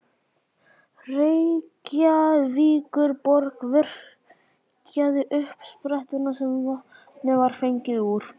Reykjavíkurborg virkjaði uppsprettuna sem vatnið var fengið úr.